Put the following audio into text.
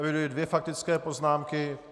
Eviduji dvě faktické poznámky.